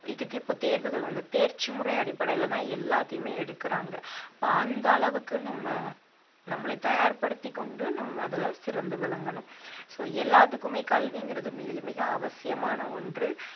இதுக்கு இப்ப தேர்வுகள் தேர்ச்சிமுறை அடிப்படையிலதான் எல்லாத்தையுமே எடுக்கறாங்க அப்ப அந்த அளவுக்கு நம்ம நம்மளை தயார்படுத்திக் கொண்டு நம்ம அதுல சிறந்து விளங்கணும் so எல்லாத்துக்குமே கல்விங்கிறது மிக மிக அவசியமான ஒன்று